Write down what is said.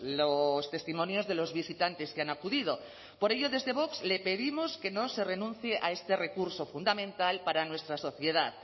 los testimonios de los visitantes que han acudido por ello desde vox le pedimos que no se renuncie a este recurso fundamental para nuestra sociedad